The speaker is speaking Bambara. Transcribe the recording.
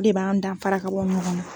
De b'an danfara ka bɔ ɲɔngɔn na